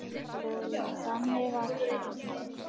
SKÚLI: Þannig var hann.